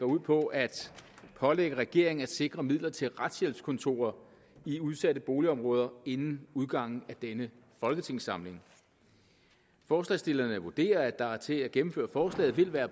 ud på at pålægge regeringen at sikre midler til retshjælpskontorer i udsatte boligområder inden udgangen af denne folketingssamling forslagsstillerne vurderer at der til at gennemføre forslaget vil være